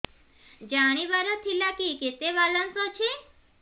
ଜାଣିବାର ଥିଲା କି କେତେ ବାଲାନ୍ସ ଅଛି